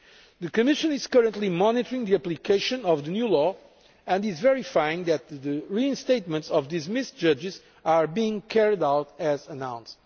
The Commission is currently monitoring the application of the new law and is verifying that the reinstatement of dismissed judges is being carried out as announced.